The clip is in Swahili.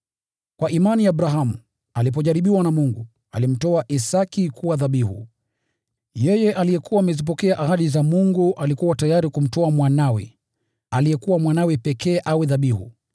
Kwa imani Abrahamu, alipojaribiwa na Mungu, alimtoa Isaki kuwa dhabihu. Yeye aliyekuwa amezipokea ahadi za Mungu alikuwa tayari kumtoa mwanawe, aliyekuwa mwanawe pekee awe dhabihu.